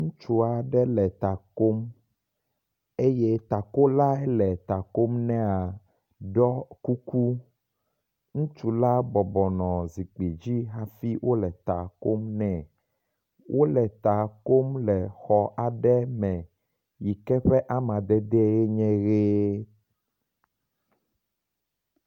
Ŋutsu aɖe le ta kom eye takola hele ta kom nɛea ɖɔ kuku. Ŋutsu la bɔbɔnɔ zikpui dzi hafi wo le ta kom nɛ. Wo le ta kom le xɔ aɖe me yi ke ƒe amadedee nye ʋi.